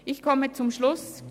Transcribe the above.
Im komme zum Schluss.